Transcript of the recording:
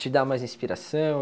Te dá mais inspiração?